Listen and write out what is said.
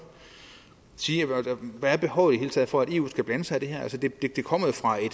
sige hvad er behovet i det hele taget for at eu skal blande sig i det her altså det det kommer jo fra en